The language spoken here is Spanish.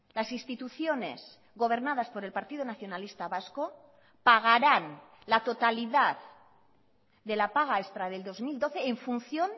las instituciones gobernadas por el partido nacionalista vasco pagaran la totalidad de la paga extra del dos mil doce en función